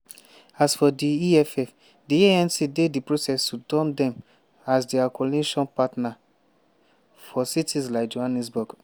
"as for di eff di anc dey di process to dump dem as dia coalition partner for cities like johannesburg.